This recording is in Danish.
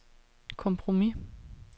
kompromis